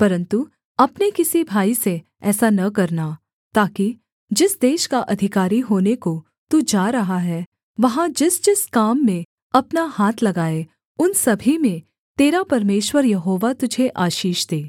परन्तु अपने किसी भाई से ऐसा न करना ताकि जिस देश का अधिकारी होने को तू जा रहा है वहाँ जिसजिस काम में अपना हाथ लगाए उन सभी में तेरा परमेश्वर यहोवा तुझे आशीष दे